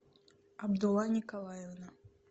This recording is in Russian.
абдулла николаевна